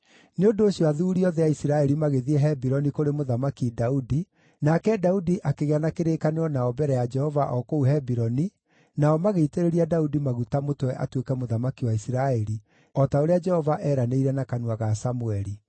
Nĩ ũndũ ũcio athuuri othe a Isiraeli magĩthiĩ Hebironi kũrĩ Mũthamaki Daudi, nake Daudi akĩgĩa na kĩrĩkanĩro nao mbere ya Jehova o kũu Hebironi, nao magĩitĩrĩria Daudi maguta mũtwe atuĩke mũthamaki wa Isiraeli, o ta ũrĩa Jehova eranĩire na kanua ga Samũeli.